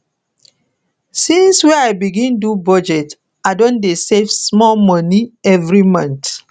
since wey i begin do budget i don dey save small moni every month